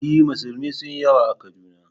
E, musulmi sun yi yawa a Kaduna